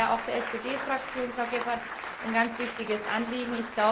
Das war ja auch der SD Fraktion, Frau Gebhardt, ein ganz wichtiges Anliegen.